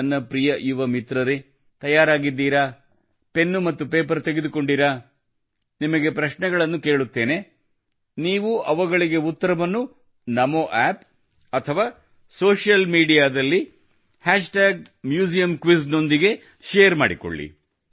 ನನ್ನ ಪ್ರಿಯ ಯುವ ಮಿತ್ರರೇ ತಯಾರಾಗಿದ್ದೀರಾ ಪೆನ್ನು ಮತ್ತು ಪೇಪರು ಎತ್ತಿಕೊಂಡಿರಾ ನಿಮಗೆ ಪ್ರಶ್ನೆಗಳನ್ನು ಕೇಳುತ್ತೇನೆ ನೀವು ಅವುಗಳಿಗೆ ಉತ್ತರವನ್ನು ನಮೋ ಆಪ್ ಅಥವಾ ಸೋಶಿಯಲ್ ಮೀಡಿಯಾ ದಲ್ಲಿ tag museum quiz hash tag museum quiz ನೊಂದಿಗೆ ಶೇರ್ ಮಾಡಿಕೊಳ್ಳಿ